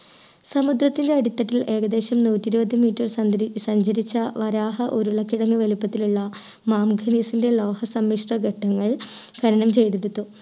സമുദ്രത്തിലെ അടിത്തട്ടിൽ ഏകദേശം നൂറ്റി ഇരുപത് meter സന്തരി സഞ്ചരിച്ച വരാഹ ഉരുളക്കിഴങ്ങ് വലിപ്പത്തിലുള്ള മാമുഖിലീസിൻ്റെ ലോഹ സമ്മിശ്ര ഘട്ടങ്ങളിൽ ഖനനം ചെയ്തെടുത്തു